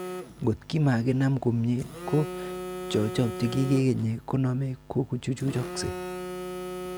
Ngot komakinam komie, ko chekotokikenye konome kochuchuchokse.